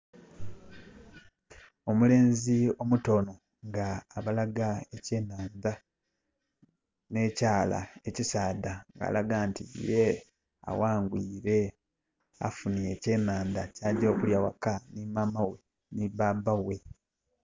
Omulenzi omuto onho nga abalaga ekyenhandha nhe kyala ekisaadha nga alaga nti ye aghangwire, afunhye ekyenhandha kyagya okulya ghaka nhi mama ghe nhi baba ghe